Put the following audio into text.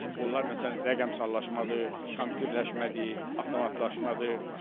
Onlar məsələn rəqəmsallaşmadır, kompüterləşmədir, avtomatlaşmadır.